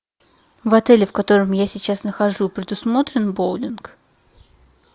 в отеле в котором я сейчас нахожусь предусмотрен боулинг